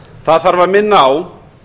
það þarf að minna á